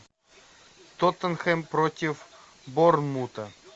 тоттенхэм против борнмута